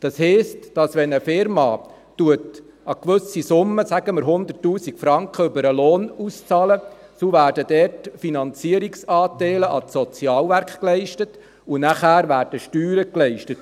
Das heisst, wenn eine Unternehmung eine gewisse Summe, sagen wir 100 000 Franken, über den Lohn auszahlt, dann werden dort Finanzierungsanteile an die Sozialwerke geleistet, und danach werden Steuern geleistet.